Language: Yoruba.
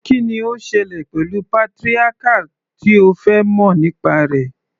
Kí ni ó ń ṣẹlẹ̀ pẹ̀lú patriarchal tí o fẹ́ mọ̀ nípa rẹ̀?